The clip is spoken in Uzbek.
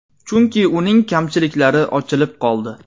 Chunki uning kamchiliklari ochilib qoldi.